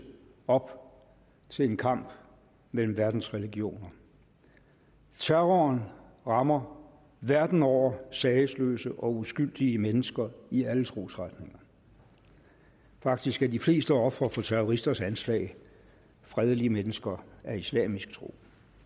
op til en kamp mellem verdens religioner terroren rammer verden over sagesløse og uskyldige mennesker i alle trosretninger faktisk er de fleste ofre for terroristers anslag fredelige mennesker med islamisk tro